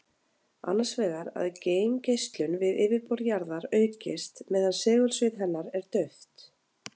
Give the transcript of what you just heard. Annars vegar að geimgeislun við yfirborð jarðar aukist meðan segulsvið hennar er dauft.